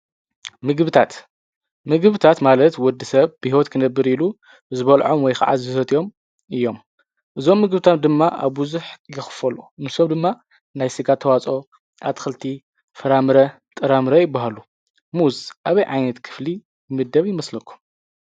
ምግብታት ምግብታት ማለት ወዲ ሰብ ብሁት ክነብር ኢሉ ዝበልዖም ወይ ከዓት ዝሰትዮም እዮም እዞም ምግብታት ድማ ኣብዙኅ የኽፈሎ ምሰብ ድማ ናይ ሥጋ ተዋጾ ኣትክልቲ ፍራምረ ጥራምረ ይብሃሉ ሙዝ ኣብይ ዓይነት ክፍሊ ይምደብ ይመስለኩ?